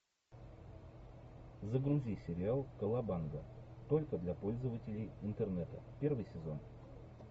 загрузи сериал колобанга только для пользователей интернета первый сезон